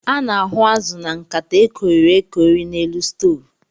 A na-ahu azụ na nkata e koiri-ekoi n'elu stovu.